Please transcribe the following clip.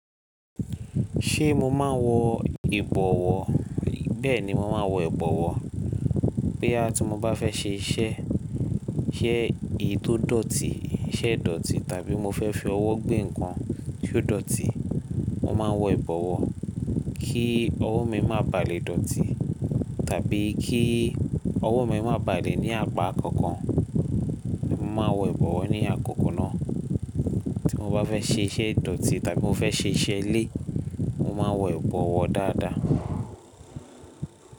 Ṣé mo máa ń wọ ìbọwọ́? Bẹ́ẹ̀ni, mo máa ń wọ ìbọwọ́. Bóyá tí mo bá fẹ́ ṣe iṣẹ́, iṣẹ́ ètò dọ̀tí, iṣẹ́ ìdọ̀tí tàbí mo fẹ́ fi ọwọ́ gbé nǹkan tí ó dọ̀tí, mo máa ń wọ ìbọwọ́ kí ọwọ́ mi má bà lé dọ̀tí tàbí kí ọwọ́ mi má bà lé ní apá kankan. Mo máa wọ ìbọwọ́ ní àkókò náà tí mo bá fẹ́ ṣe iṣẹ́ ìdọ̀tí tàbí mo fẹ́ ṣe iṣẹ́ ilé, mo máa wọ ìbọwọ́ dáadáa.